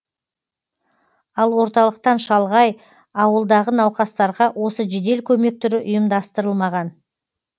ал орталықтан шалғай ауылдағы науқастарға осы жедел көмек түрі ұйымдастырылмаған